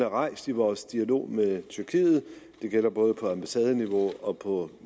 rejst i vores dialog med tyrkiet det gælder både på ambassadeniveau og på